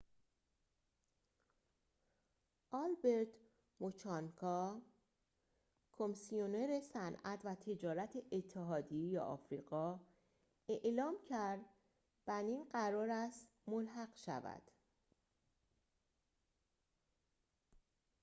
آلبرت موچانگا کمیسیونر صنعت و تجارت اتحادیه آفریقا اعلام کرد بنین قرار است ملحق شود